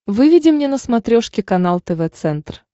выведи мне на смотрешке канал тв центр